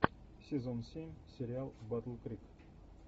сезон семь сериал батл крик